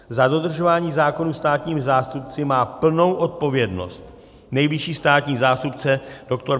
Za dodržování zákonů státními zástupci má plnou odpovědnost nejvyšší státní zástupce dr.